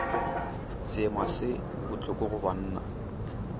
seema se bohloko go banna